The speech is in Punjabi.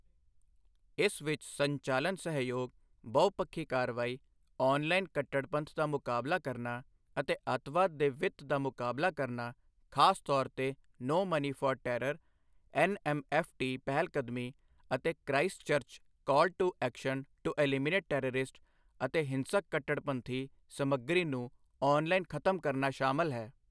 ਇਸ ਵਿੱਚ ਸੰਚਾਲਨ ਸਹਿਯੋਗ, ਬਹੁਪੱਖੀ ਕਾਰਵਾਈ, ਔਨਲਾਈਨ ਕੱਟੜਪੰਥ ਦਾ ਮੁਕਾਬਲਾ ਕਰਨਾ ਅਤੇ ਅੱਤਵਾਦ ਦੇ ਵਿੱਤ ਦਾ ਮੁਕਾਬਲਾ ਕਰਨਾ ਖਾਸ ਤੌਰ ਤੇ no money for terror NMFT ਪਹਿਲਕਦਮੀ ਅਤੇ Christchurch call to action to eliminate terrorist ਅਤੇ ਹਿੰਸਕ ਕੱਟੜਪੰਥੀ ਸਮੱਗਰੀ ਨੂੰ ਔਨਲਾਈਨ ਖਤਮ ਕਰਨਾ ਸ਼ਾਮਲ ਹੈ।